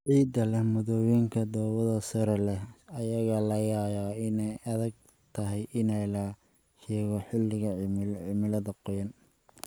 Ciidda leh maaddooyinka dhoobada sare leh ayaa laga yaabaa inay adag tahay in la shaqeeyo xilliga cimilada qoyan.